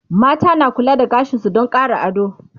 mata na kula da gashinsu Dan Ƙara ado